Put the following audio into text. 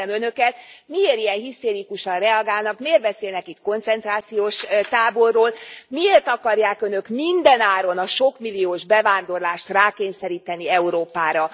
Kérdezem önöket, miért ilyen hisztérikusan reagálnak, miért beszélnek itt koncentrációs táborról, miért akarják önök mindenáron a sokmilliós bevándorlást rákényszeríteni Európára?